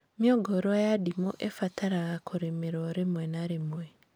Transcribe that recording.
Mĩũngũrwa ya ndimũ ĩbataraga kũrĩmĩrwo rĩmwe na rĩmwe